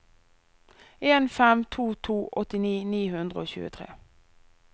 en fem to to åttini ni hundre og tjuetre